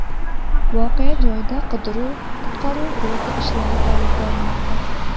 Voqea joyida qidiruv-qutqaruv guruhi ish olib bormoqda.